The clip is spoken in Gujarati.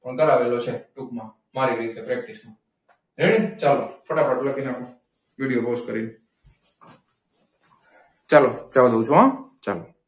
કરાવેલો છે ટૂંકમાં મારી રીતે ready ચાલો ફટાફટ લખી નાખો વિડિયો પોઝ કરીને. ચાલો જવા દઉં છું હો ચાલો.